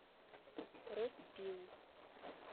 роспил